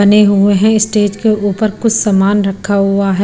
बने हुए हैं स्टेज के ऊपर कुछ सामान रखा हुआ है।